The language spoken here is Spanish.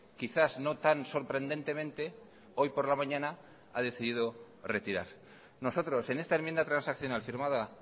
quizás no tan sorprendentemente hoy por la mañana ha decidido retirar nosotros en esta enmienda transaccional firmada